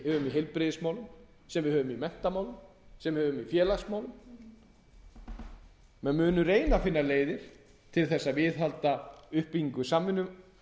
í heilbrigðismálum sem við höfum í menntamálum sem við höfum í félagsmálum menn munu reyna að finna leiðir til að viðhalda uppbyggingu samvinnumannvirkja